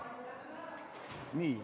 Nii.